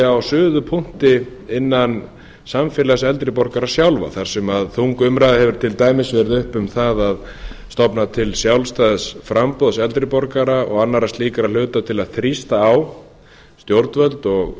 sé á suðupunkti innan samfélags eldri borgara sjálfra þar sem þung umræða hefur til dæmis verið uppi um það að stofna til sjálfstæðs framboðs eldri borgara og annarra slíkra hluta til að þrýsta á stjórnvöld og